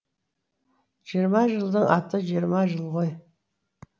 жиырма жылдың аты жиырма жыл ғой